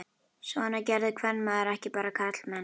Svona gerði kvenmaður ekki, bara karlmenn.